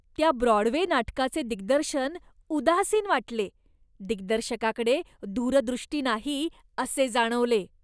त्या ब्रॉडवे नाटकाचे दिग्दर्शन उदासीन वाटले. दिग्दर्शकाकडे दूरदृष्टी नाही असे जाणवले.